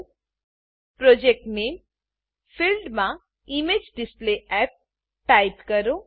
project નામે project name ફિલ્ડમાં image display app image display app type કરો